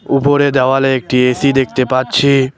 উপরে দেওয়ালে একটি এ_সি দেখতে পাচ্ছি।